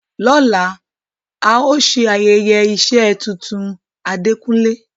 Lola, a o se ayeye ise tuntun Adekunle